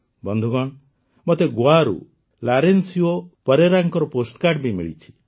ବନ୍ଧୁଗଣ ମୋତେ ଗୋଆରୁ ଲାରେନଶିୟୋ ପରେରାଙ୍କ ପୋଷ୍ଟକାର୍ଡ଼ ବି ମିଳିଛି